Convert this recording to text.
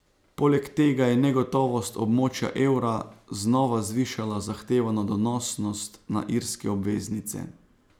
Poleg tega je negotovost območja evra znova zvišala zahtevano donosnost na irske obveznice.